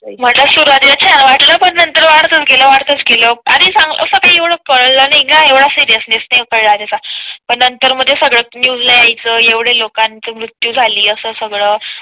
म्हटलं सुरुवातीला छान वाटलं पण नंतर वाढतच गेला वाढतच गेला आणि असं काही एवढं कळलं नाही गं येवडा सीरिअसनेस नाही कळला पण नंतर मग सगळं न्यूज मध्ये यायचं एवढे लोकांचे मृत्यू झाले असं सगळं